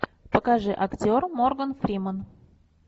покажи актер морган фриман